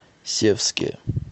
севске